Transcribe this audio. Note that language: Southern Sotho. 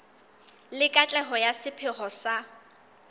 le katleho ya sepheo sa